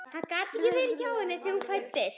Og hann gat ekki verið hjá henni þegar hún fæddist.